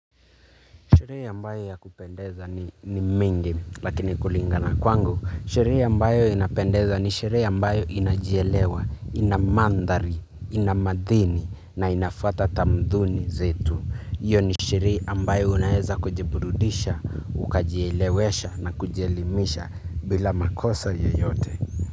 Shehere ambayo ya kupendeza ni mingi lakini kulingana kwangu. Sherehe ambayo inapendeza ni sherehe ambayo inajielewa, inamandhari, ina madini na inafuata tamaduni zetu. Iyo ni shehere ambayo unaweza kujiburudisha, ukajielewesha na kujelimisha bila makosa yeyote.